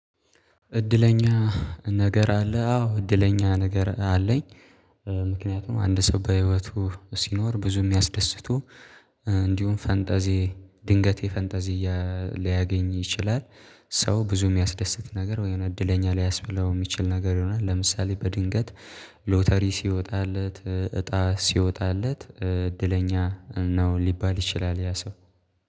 እድለኛ ነገር አለ አዎ እድለኛ ነገር አለኝ። ምክንያቱም አንድ ሰው በህይወቱ ሲኖር ብዙ የሚያስደስቱ እንዲሁም ፈንጠዜ ድንገት የፈንጠዚያ ሊያገኝ ይችላል። ሰው ብዙ የሚያስደስት ነገር ወይም እድለኛ ሊያስብለው የሚችል ነገር ይሆናል። ለምሳሌ በድንገት ሎተሪ ሲወጣለት እጣ ሲወጣለት እድለኛ ነው ሊባል ይችላል ያ ሰው